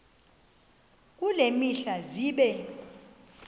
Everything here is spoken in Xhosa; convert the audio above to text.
kule mihla zibe